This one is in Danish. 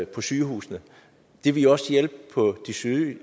på sygehusene det ville også hjælpe på de syge